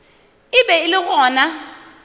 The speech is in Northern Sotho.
e be e le gona